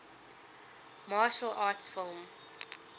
martial arts film